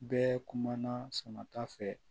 Bɛɛ kumana sama ta fɛ